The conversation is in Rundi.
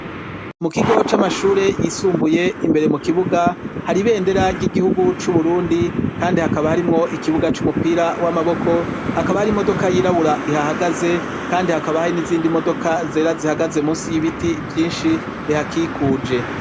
Mu kigo c'amashure yisumbuye imbere mu kibuga hari ibendera ry'igihugu c'u Burundi kandi hakaba harimwo ikibuga c'umupira w'amaboko, hakaba hari imodoka yirabura ihahagaze kandi hakaba hari n'izindi modoka zera zihagaze musi y'ibiti vyinshi bihakikuje.